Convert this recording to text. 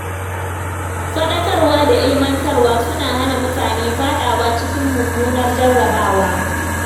Faɗakarwa da ilimantarwa suna hana mutane faɗawa cikin mummunar jarrabawa.